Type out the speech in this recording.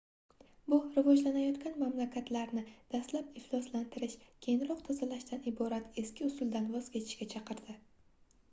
hu rivojlanayotgan mamlakatlarni dastlab ifloslantirish keyinroq tozalashdan iborat eski usuldan voz kechish"ga chaqirdi